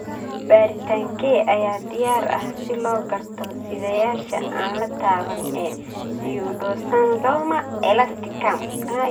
Baaritaankee ayaa diyaar ah si loo garto sidayaasha aan la taaban ee pseudoxanthoma elasticum?